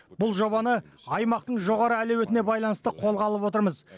бұл жобаны аймақтың жоғары әлеуетіне байланысты қолға алып отырмыз